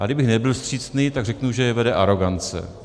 A kdybych nebyl vstřícný, tak řeknu, že je vede arogance.